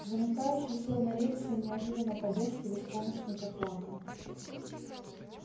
замыкающий сел на рельсы и неожиданно по-детски беспомощно заплакал